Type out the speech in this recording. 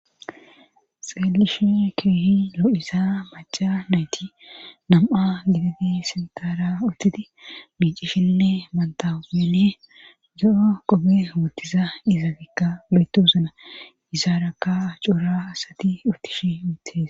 xeelishi keehi lo7iza maca nayti nam7a giditi sintaara uttiti miicishinne mantaene do7o qobe wottiza iza gikka lo7etu uzuna hesaarakka coora asati uttish mutes